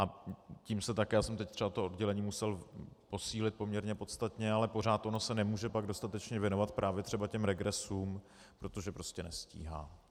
A tím se také - já jsem teď třeba to oddělení musel posílit poměrně podstatně, ale pořád ono se nemůže pak dostatečně věnovat právě třeba těm regresům, protože prostě nestíhá.